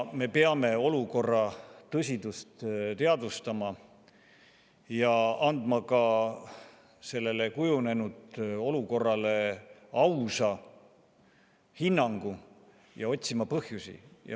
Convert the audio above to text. Me peame olukorra tõsidust teadvustama, andma ka praegu kujunenud olukorrale ausa hinnangu ja otsima põhjusi.